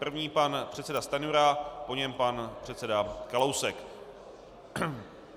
První pan předseda Stanjura, po něm pan předseda Kalousek.